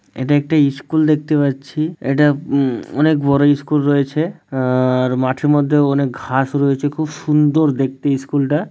এটি একটি স্কুল দেখতে পাচ্ছি এটা উম অনেক বড় স্কুল রয়েছে আ-আর মাঠের মধ্যে অনেক ঘাস রয়েছে খুব সুন্দর দেখতে স্কুল টা।